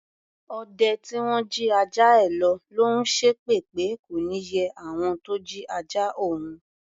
Ọdẹ tí wọ́n jí ajá ẹ lọ̀ ló ń ṣépè pé kò ní yẹ àwọn tó jí ajá òun.